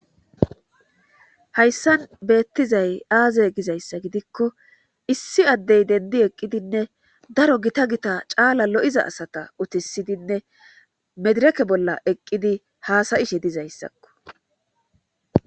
Hayssan beettizay aaze gizayssa gidikko issi addey dendi eqqidinne daro gita gita caala lo7iza asata utisidinne medireke bolla eqqidi haasayishe dizayssakko.